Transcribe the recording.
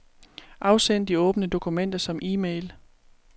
Afsend de åbne dokumenter som e-mail.